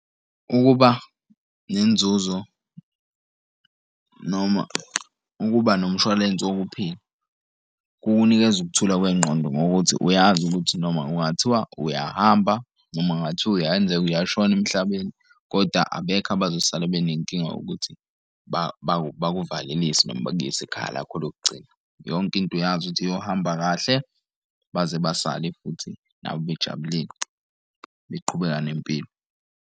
Ukuba nenzuzo noma ukuba nomshwalense wokuphila kukunikeza ukuthula kwengqondo ngokuthi uyazi ukuthi noma ungathiwa uyahamba noma kungathiwa uyenzeka uyashona emhlabeni kodwa abekho abazosala benenkinga yokuthi bakuvalisi noma bakuyise ekhaya lakho lokugcina. Yonke into uyazi ukuthi iyohamba kahle baze basale futhi nabo bejabulile beqhubeka nempilo.